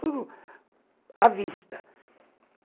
Tudo à vista.